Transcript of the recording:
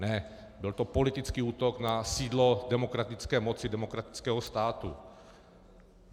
Ne, byl to politický útok na sídlo demokratické moci demokratického státu.